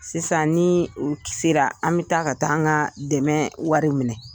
Sisan ni u sera, an bi taa ka taa an ka dɛmɛ wari minɛ.